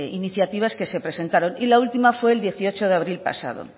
iniciativas que se presentaron y la última fue el dieciocho de abril pasado